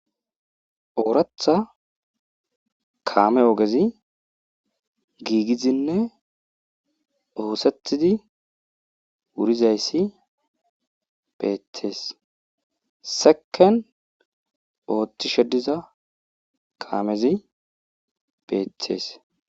Ooratha kaame ogezi giigizinne oosethidi wurizayssi beeththees seken ooththi shediza kaamezi beethees.